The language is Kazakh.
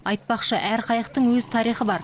айтпақшы әр қайықтың өз тарихы бар